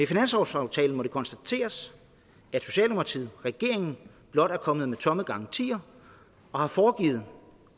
finanslovsaftalen må det konstateres at socialdemokratiet regeringen blot er kommet med tomme garantier og har foregivet